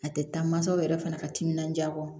A tɛ taa mansaw yɛrɛ fana ka timinanja kɔ